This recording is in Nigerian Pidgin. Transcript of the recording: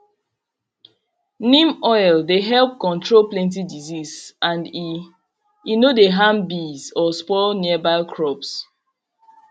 neem oil dey help control plenty disease and e e no dey harm bees or spoil nearby crops